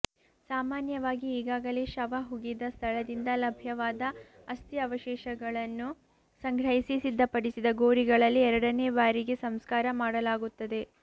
ಸಾಮಾನ್ಯವಾಗಿ ಈಗಾಗಲೆ ಶವ ಹುಗಿದ ಸ್ಥಳದಿಂದ ಲಭ್ಯವಾದ ಅಸ್ಥಿ ಅವಶೇಷಗಳನ್ನು ಸಂಗ್ರಹಿಸಿ ಸಿದ್ಧಪಡಿಸಿದ ಗೊರಿಗಳಲ್ಲಿ ಎರಡನೇ ಬಾರಿಗೆ ಸಂಸ್ಕಾರ ಮಾಡಲಾಗುತ್ತದೆ